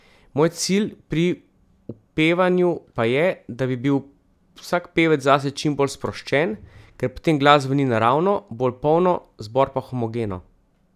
Moj cilj pri upevanju pa je, da bi bil vsak pevec zase čim bolj sproščen, ker potem glas zveni naravno, bolj polno, zbor pa homogeno.